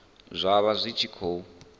zwa vha zwi tshi khou